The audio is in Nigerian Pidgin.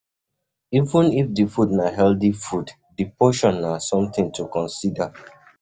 Even if di food na healthy food, di portion na something to consider